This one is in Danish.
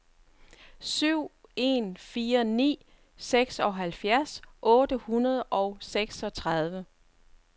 syv en fire ni seksoghalvfjerds otte hundrede og seksogtredive